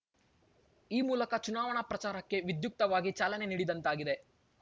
ಈ ಮೂಲಕ ಚುನಾವಣಾ ಪ್ರಚಾರಕ್ಕೆ ವಿದ್ಯುಕ್ತವಾಗಿ ಚಾಲನೆ ನೀಡಿದಂತಾಗಿದೆ